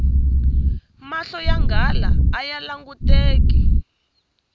mahlo ya nghala aya languteki